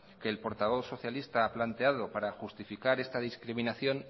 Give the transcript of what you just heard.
que el portavoz socialista ha planteado par justificar esta discriminación